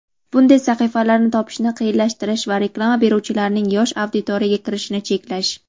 bunday sahifalarni topishni qiyinlashtirish va reklama beruvchilarning yosh auditoriyaga kirishini cheklash.